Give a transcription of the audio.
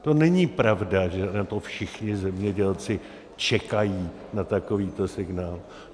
To není pravda, že na to všichni zemědělci čekají, na takovýto signál.